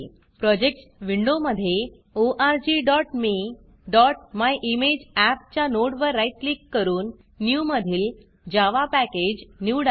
projects विंडोमधे orgmeमायिमेजअप च्या नोडवर राईट क्लिक करून Newन्यू मधील जावा Packageजावा पॅकेज निवडा